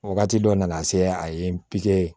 Wagati dɔ nana se a ye npipi